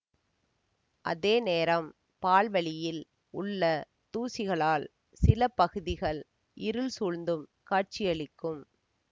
அதே நேரம் பால்வழியில் உள்ள தூசிகளால் சில பகுதிகள் இருள் சூழ்ந்தும் காட்சியளிக்கும்